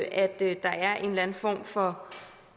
at der er en eller anden form for